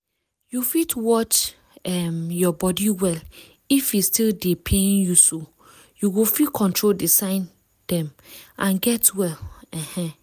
you fit watch um your body well if e still dey pain youso you go fit control the sign dem and get well um